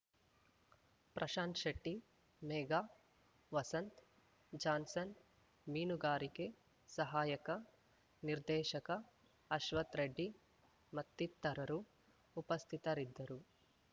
Prashant Shetty Megha Vasant Johnson ಮೀನುಗಾರಿಕೆ ಸಹಾಯಕ ನಿರ್ದೇಶಕ ಅಶ್ವಥ್‌ ರೆಡ್ಡಿ ಮತ್ತಿತರರು ಉಪಸ್ಥಿತರಿದ್ದರು